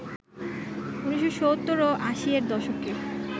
১৯৭০ ও ৮০ এর দশকে